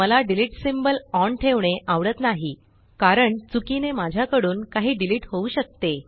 मला delete symbol on ठेवणे आवडत नाही कारण चुकीने माझ्याकडून काही डिलीट होऊ शकते